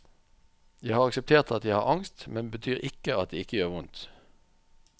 Jeg har akseptert at jeg har angst, men det betyr ikke at det ikke gjør vondt.